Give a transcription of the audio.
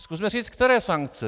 Zkusme říct, které sankce.